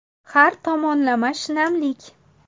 Har tomonlama shinamlik .